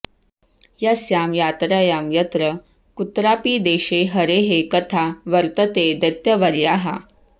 यस्यां यात्रायां यत्र कुत्रापि देशे हरेः कथा वर्तते दैत्यवर्याः